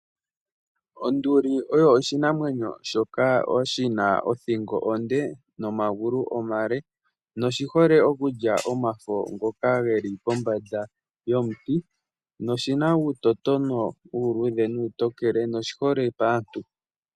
Onduli oyo oshinamwenyo shoka shina othingo onde, nomagulu omale, noshi hole okulya omafo ngoka geli pombanda yomuti. Oshina uutotombi uuluudhe nuutokele, noshi hole paantu.